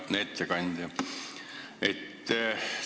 Hea ettekandja!